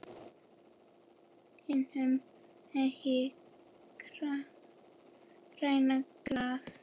Hinum megin grænna gras.